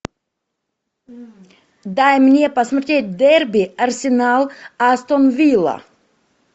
дай мне посмотреть дерби арсенал астон вилла